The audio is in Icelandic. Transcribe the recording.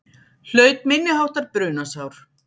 Hlaut minniháttar brunasár